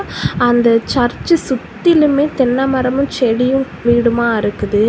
அந்த சர்ச்ச சுத்திலுமே தென்னமரமும் செடியும் வீடுமா இருக்குது.